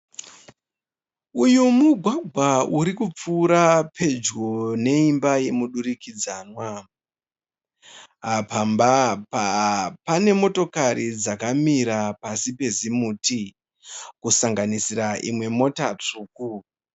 Uyu mugwagwa urikupfuura pedyo neimba yomudurikidzanwa. Pamba Apa pane motokari dzakamira pasi pezimuti kusanganisira imwe mota tsvuku.